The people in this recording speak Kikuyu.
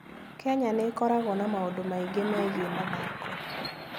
Kenya nĩ ĩkoragwo na maũndũ maingĩ megiĩ mathako.